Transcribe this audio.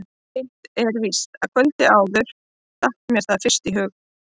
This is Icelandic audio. Hitt er víst að kvöldið áður datt mér það fyrst í hug.